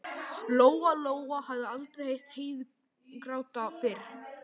Lóa-Lóa hafði aldrei heyrt Heiðu gráta fyrr.